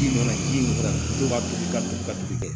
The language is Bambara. Ji nɔsi dɔn foyi ka bisi ka kɛ